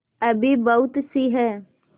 अभी बहुतसी हैं